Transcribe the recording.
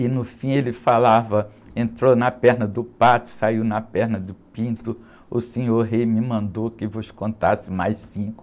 E no fim ele falava, entrou na perna do pato, saiu na perna do pinto, o senhor rei me mandou que vos contasse mais cinco.